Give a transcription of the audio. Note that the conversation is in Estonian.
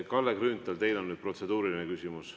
Kalle Grünthal, teil on protseduuriline küsimus.